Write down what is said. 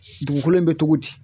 dugukolo in be togo di,